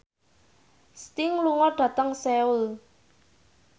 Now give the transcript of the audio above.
Sting lunga dhateng Seoul